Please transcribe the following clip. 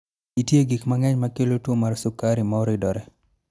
Nitie gik mang�eny ma kelo tuo mar sukari ma oridore.